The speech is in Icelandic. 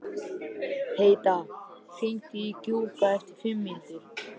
Heida, hringdu í Gjúka eftir fimm mínútur.